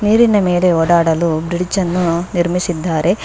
ನೀರಿನ ಮೆಲೆ ಓಡಾಡಲು ಬ್ರಿಜ್ ಅನ್ನು ನಿರ್ಮಿಸಿದ್ದಾರೆ.